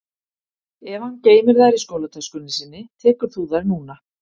Ef hann geymir þær í skólatöskunni sinni tekur þú þær núna